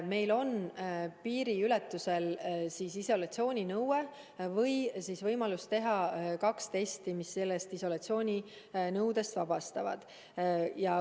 Meil on piiriületusel isolatsiooninõue või võimalus teha kaks testi, mis isolatsiooninõudest vabastavad.